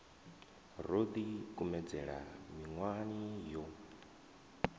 ro ḓi kumedzela miṅwahani yo